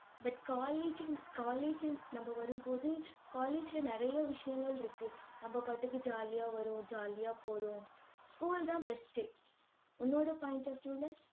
but colleging colleging நம்ம வரும்போது, college ல நிறைய விஷயங்கள் இருக்கு. நம்ம பாட்டுக்கு jolly ஆ வரோம் jolly ஆ போறோம். school தான் best உ உன்னோட point of view ல